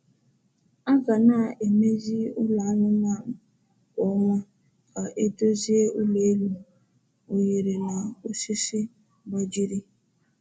A ga na-emezi ụlọ anụmanụ kwa ọnwa ka e dozie ụlọ elu, oghere na osisi gbajiri um